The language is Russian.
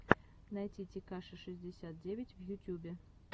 найти текаши шестьдесят девять в ютюбе